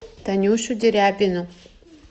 танюшу дерябину